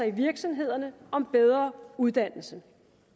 i virksomhederne og om bedre uddannelse